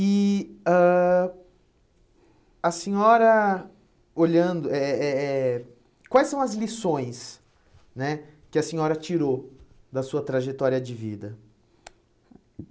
E ãh a senhora, olhando, eh eh eh eh quais são as lições né que a senhora tirou da sua trajetória de vida?